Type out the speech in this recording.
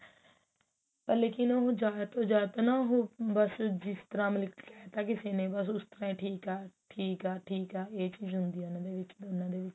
ਪਰ ਲੇਕਿਨ ਉਹ ਜਿਆਦਾਤਰ ਨਾ ਉਹ ਬਸ ਜਿਸ ਤਰਾਂ ਮਤਲਬ ਕੀ ਕਿਹ ਤਾਂ ਕਿਸੇ ਨੇ ਬਸ ਉਸ ਤਰਾਂ ਹੀ ਠੀਕ ਆ ਠੀਕ ਆ ਠੀਕ ਆ ਇਹ ਚੀਜ਼ ਹੁੰਦੀ ਉਹਨਾ ਦੋਨਾ ਦੇ ਵਿੱਚ